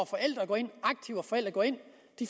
forældre går ind